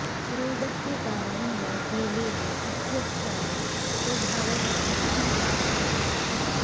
रोगस्य कारणेन हेलेन इत्यस्याः स्वभावः हठी जातः आसीत्